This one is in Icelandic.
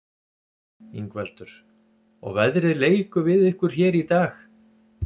Ingveldur: Og veðrið leikur við ykkur hér í dag?